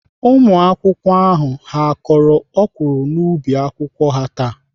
Ụmụakwụkwọ ndị ahụ ha kọrọ ọkwụrụ n'ubi akwụkwọ ha taa?